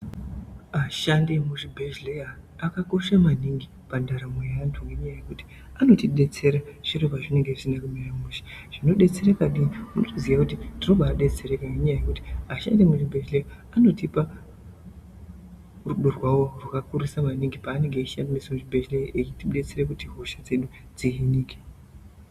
Ashandi emuzvibhehlera akakosha mwaningi pandaramo yeantu ngenyaya yekuti anotibetsere zviro pazvinenge zvisine kumira mushe zvinodetsereke nekuti tinobaziya mwaningi kuti ashandi emuzvibhehlera anotipe rudo rwahwo rwakakurisa mwaningi paanenge achishanda muzvibhehlera achitibatsira kuti hosha dzedu dziyanike.